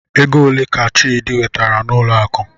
Ego ole ka Chidi wetere n'ụlọ akụ?